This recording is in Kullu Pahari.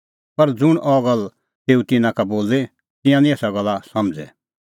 पर ज़ुंण अह गल्ल तेऊ तिन्नां का बोली तिंयां निं एसा गल्ला समझ़ै